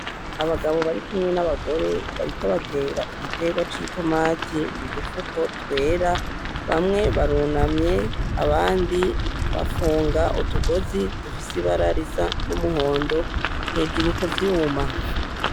Abagabo barikumwe n'abagore bariko batera igiterwa c'itomati mu dufuko twera, bamwe barunamye abandi bafunga utugozi dufise ibara risa n'umuhondo hejuru ku vyuma.